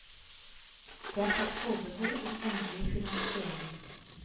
Det er tatt forbehold om endelig finansiering.